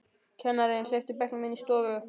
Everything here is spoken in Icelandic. Kennarinn hleypti bekknum inn í stofu.